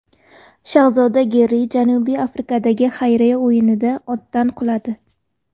Shahzoda Garri Janubiy Afrikadagi xayriya o‘yinida otdan quladi.